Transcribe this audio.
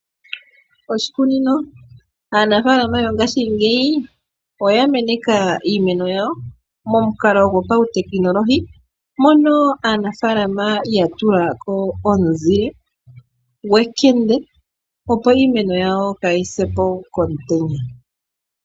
Oshikunino, aanafalama yongashi ngeyi, oya meneka iimeno yawo momukalo gopawutekenolohi, mono aanafalama yatulako ozile gwekende, opo iimeno yawo kayi sepo komutenya.